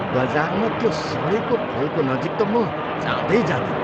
बजारमा त्यो सडेको फलको नजिक त म जाँदै जाँदिनँ।